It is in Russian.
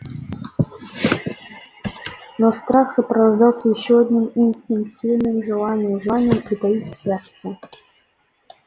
но страх сопровождался ещё одним инстинктивным желанием желанием притаиться спрятаться